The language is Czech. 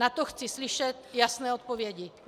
Na to chci slyšet jasné odpovědi.